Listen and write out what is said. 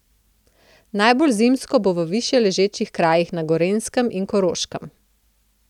Najbolj zimsko bo v višjeležečih krajih na Gorenjskem in Koroškem.